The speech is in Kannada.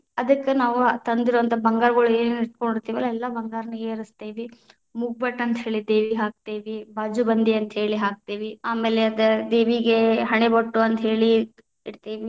ಅದಕ್ಕ ನಾವು ತಂದಿರೊವಂಥ ಬಂಗಾರಗಳು ಏನ್‌ ಇಟಗೊಂಡಿತೇ೯ವಲ್ಲಾ ಎಲ್ಲಾ ಬಂಗಾರಗಳನ್ನೆರಸತೇವಿ, ಮೂಗ್ಬಟ್ಟ ಅಂತ ಹೇಳಿ ದೇವಿಗ ಹಾಕ್ತೇವಿ, ಬಾಜುಬಂದಿ ಅಂತ ಹೇಳಿ ಹಾಕ್ತೇವಿ ಆಮೇಲೆ ಅದ ದೇವಿಗೆ ಹಣೆಬೊಟ್ಟು ಅಂತ ಹೇಳಿ ಇಡತೇವಿ.